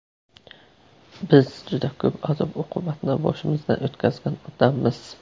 Biz juda ko‘p azob-uqubatni boshimizdan o‘tkazgan odammiz.